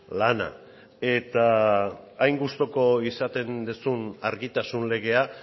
lana eta hain gustuko izaten duzun argitasun legea